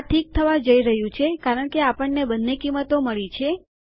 આ ઠીક થવા જઈ રહ્યું છે કારણ કે આપણને બંને કિંમતો મળી છે